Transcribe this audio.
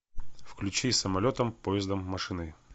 включи самолетом поездом машиной